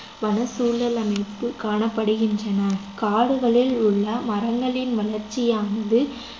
வன சூழலமைப்பு காணப்படுகின்றன காடுகளில் உள்ள மரங்களின் வளர்ச்சியானது